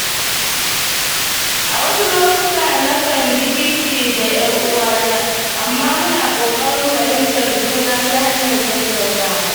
A wasu lokuta, na kan ji kishi da ‘yar uwata, amma muna ƙoƙarin fahimtar juna ta hanyar tattaunawa.